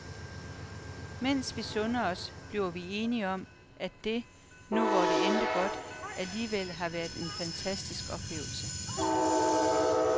Mens vi sunder os, bliver vi enige om, at det, nu hvor det endte godt, alligevel har været en fantastisk oplevelse.